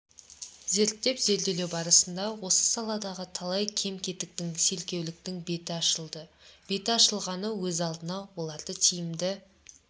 зерттеп-зерделеу барысында осы саладағы талай кем-кетіктің селкеуліктің беті ашылды беті ашылғаны өз алдына оларды тиімді